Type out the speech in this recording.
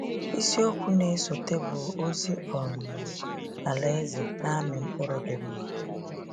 Isi okwu na-esote bụ “Ozi um Alaeze Na-amị Mkpụrụ dị Mma.”